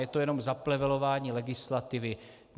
Je to jenom zaplevelování legislativy.